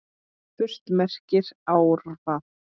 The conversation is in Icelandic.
Furt merkir árvað.